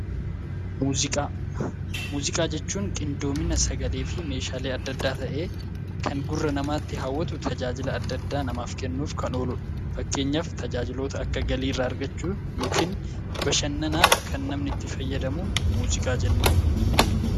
Muuziqaa jechuun qindoomina sagalee fi meeshaalee adda addaa ta'ee, kan gurra namaatti hawwatu tajaajila namaaf kennuuf kan ooludha. Fakkeenyaaf tajaajiloota akka galiirraa argachuu yookiin bashannanaaf kan namni itti fayyadamu muuziqaa jenna.